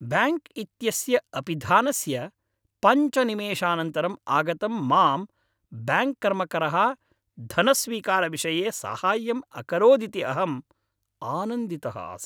Bank इत्यस्य अपिधानस्य पञ्च निमेषानन्तरम् आगतं मां ब्याङ्क् कर्मकरः धनस्वीकारविषये साहाय्यम् अकरोदिति अहम् आनन्दितः आसम्।